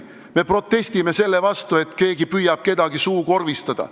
Me protestime selle vastu, et keegi püüab kedagi suukorvistada.